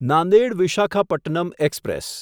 Nanded Visakhapatnam express